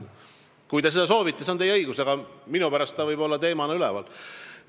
Kui te seda soovite, see on teie õigus, aga minu pärast ta võib olla teemana üleval.